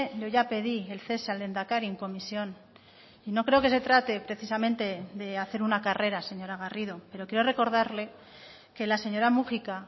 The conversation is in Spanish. yo ya pedí el cese al lehendakari en comisión y no creo que se trate precisamente de hacer una carrera señora garrido pero quiero recordarle que la señora múgica